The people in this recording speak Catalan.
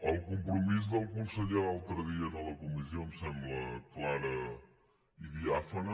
el compromís del conseller l’altre dia a la comissió em sembla clar i diàfan